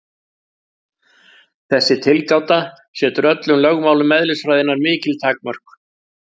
Þessi tilgáta setur öllum lögmálum eðlisfræðinnar mikil takmörk.